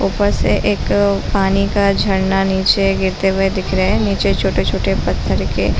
ऊपर से एक पानी का झरना नीचे गिरते हुए दिख रहे है नीचे छोटे-छोटे पत्थर के--